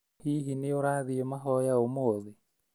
Hihi nĩũrathiĩ mahoya ũmũthĩ?